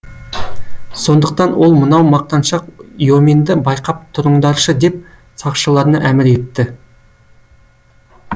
сондықтан ол мынау мақтаншақ йоменді байқап тұрыңдаршы деп сақшыларына әмір етті